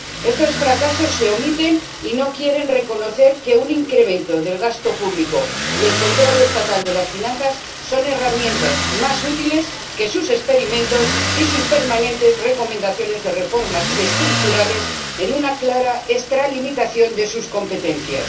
Estos fracasos se omiten, y no quieren reconocer que un incremento del gasto público y el control estatal de las finanzas son herramientas más útiles que sus experimentos y sus permanentes recomendaciones de reformas estructurales en una clara extralimitación de sus competencias.